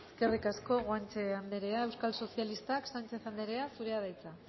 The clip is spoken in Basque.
eskerrik asko guanche anderea euskal sozialistak sánchez anderea zurea da hitza